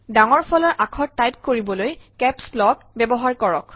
ডাঙৰ ফলাৰ আখৰ টাইপ কৰিবলৈ কেপছ লক ব্যৱহাৰ কৰক